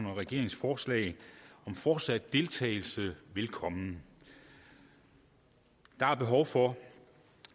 og regeringens forslag om fortsat deltagelse velkommen der er behov for